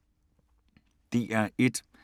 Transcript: DR1